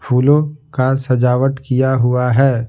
फूलों का सजावट किया हुआ है।